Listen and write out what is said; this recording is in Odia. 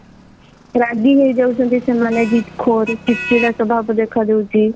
ରାଗି ହେଇଯାଉଛନ୍ତି ସେମାନେ ଜିଦ୍ ଖୋର ଚିଡ୍ ଚିଡା ସ୍ଵଭାବ ଦେଖାଦଉଛି